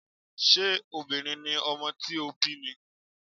Ṣé obìnrin ni ọmọ tí ó bí ni?